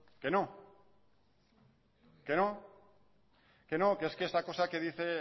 no que no es que esta cosa que dice